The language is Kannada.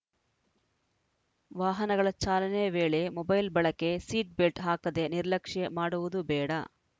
ವಾಹನಗಳ ಚಾಲನೆ ವೇಳೆ ಮೊಬೈಲ್‌ ಬಳಕೆ ಸೀಟ್‌ ಬೆಲ್ಟ್‌ ಹಾಕದೆ ನಿರ್ಲಕ್ಷ್ಯ ಮಾಡುವುದು ಬೇಡ